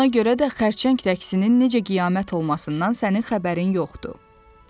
Ona görə də xərçəng rəqsinin necə qiyamət olmasından sənin xəbərin yoxdur.